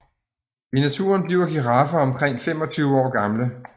I naturen bliver giraffer omkring 25 år gamle